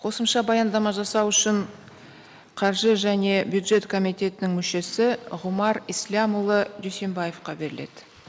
қосымша баяндама жасау үшін қаржы және бюджет комитетінің мүшесі ғұмар ислямұлы дүйсенбаевқа беріледі